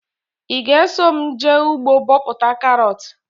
Ị ga eso mụ jee ugbo bọpụta karọt?